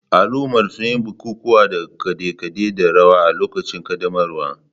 Al'ummar sun yi bukukuwa da kade-kade da rawa a lokacin ƙaddamarwar.